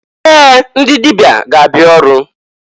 Ee! Ndị dịbịa ga-abịa ọrụ.